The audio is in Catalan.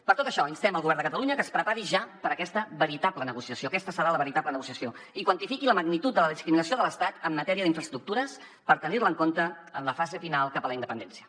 per tot això instem el govern de catalunya a que es prepari ja per a aquesta veritable negociació aquesta serà la veritable negociació i quantifiqui la magnitud de la discriminació de l’estat en matèria d’infraestructures per tenir la en compte en la fase final cap a la independència